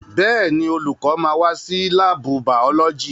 Bẹ́ẹ̀ni, olùkọ́ máa wá sí láàbù bàọ́lọ́jì